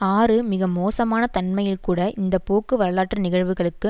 ஆறு மிக மோசமான தன்மையில்கூட இந்த போக்கு வரலாற்று நிகழ்வுகளுக்கு